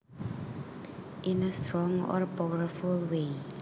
In a strong or powerful way